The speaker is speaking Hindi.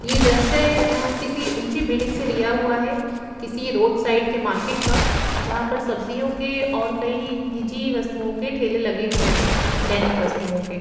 ये दृश्य किसी ऊंची बिल्डिंग से लिया हुआ है किसी रोड साइड के मार्केट का जहां पर सब्जियों के और कई निजी वस्तुओं के ठेल लगे हुए हैं दैनिक वस्तुओं के--